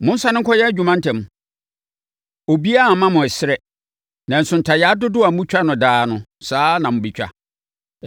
Monsane nkɔyɛ adwuma ntɛm. Obiara remma mo ɛserɛ, nanso ntayaa dodoɔ a motwa no daa no, saa ara na mobɛtwa.”